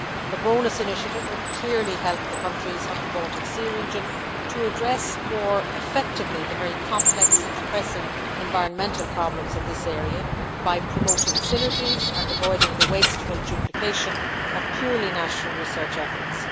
The BONUS initiative would clearly help the countries of the Baltic Sea region to address more effectively the very complex and pressing environmental problems in this area by promoting synergies and avoiding the wasteful duplication of purely national research efforts.